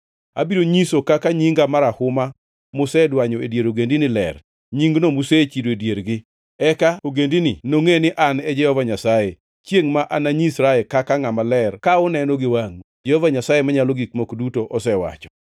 Abiro nyiso kaka nyinga marahuma musedwanyo e dier ogendini, ler, nyingno musechido e diergi. Eka ogendini nongʼe ni An e Jehova Nyasaye, chiengʼ ma ananyisra kaka ngʼama ler ka uneno gi wangʼu, Jehova Nyasaye Manyalo Gik Moko Duto osewacho.